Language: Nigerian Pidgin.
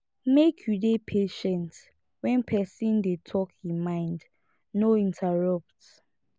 make you dey patient when person dey talk e mind no interrupt